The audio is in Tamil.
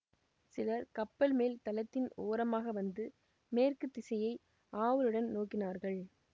சிலர் கப்பல் மேல் தளத்தின் ஓரமாக வந்து மேற்கு திசையை ஆவலுடன் நோக்கினார்கள்